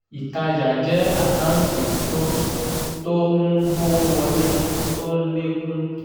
ìtajà jẹ́ àkántì tó tó ń mówó wọlé tó ń lé kún